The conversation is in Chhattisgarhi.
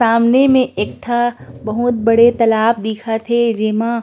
सामने में एक ठा बहुत बड़े तालाब दिखत हे जेमा--